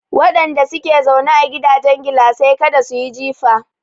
Wadanda ke zaune a gidajen gilasai kada su yi jifa.